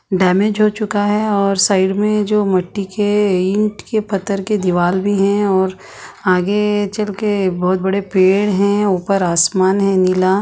damage हो चुका है और साइड में जो मट्टी के ईंट के पत्थर के दीवाल भी है और आगे चलके बहुत बड़े पेड़ है ऊपर आसमान है नीला --